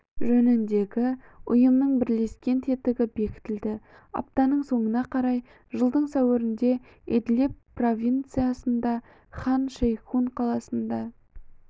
жөніндегі ұйымның бірлескен тетігі бекітілді аптаның соңына қарай жылдың сәуірінде идлиб провинциясында хан шейхун қаласында